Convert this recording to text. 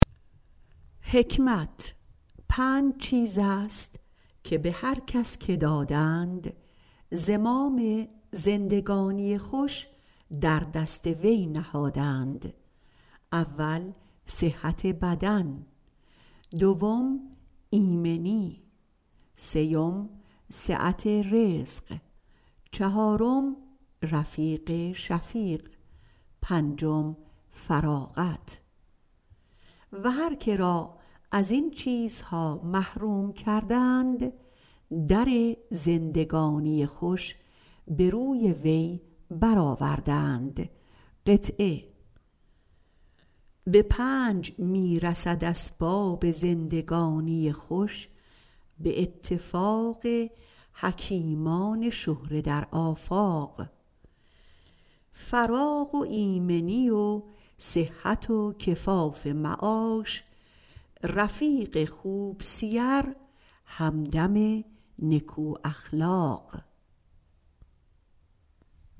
پنج چیز است که به هر کس دادند زمام زندگانی خوش در دست او نهادند اول صحت بدن دویم ایمنی سیوم وسعت رزق چهارم رفیق شفیق پنجم فراغت هر که را ازین محروم کردند در زندگانی خوش به روی وی برآوردند به پنج می رسد اسباب زندگانی خوش به اتفاق حکیمان شهره در آفاق فراغ و ایمنی و صحت و کفاف معاش رفیق خوب سیر همدم نکو اخلاق